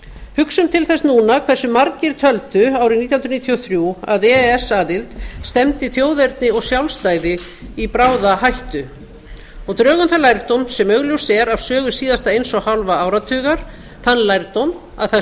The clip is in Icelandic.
hugsun til þess núna hversu margir töldu árið nítján hundruð níutíu og þrjú að e e s aðild stefndi þjóðerni og sjálfstæði í bráða hættu og drögum þann lærdóm sem augljóst er af sögu síðasta eins og hálfa áratugar þann lærdóm að það